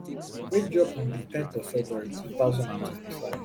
wey drop on di ten th of february two thousand and twenty-five